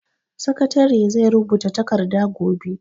Sakatare zai rubuta takarda gobe.